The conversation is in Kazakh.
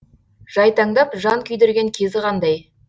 жайтаңдап жан күйдірген кезі қандай